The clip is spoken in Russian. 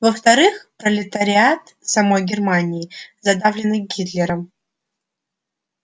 во вторых пролетариат самой германии задавленный гитлером